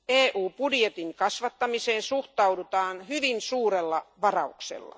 EU budjetin kasvattamiseen suhtaudutaan hyvin suurella varauksella.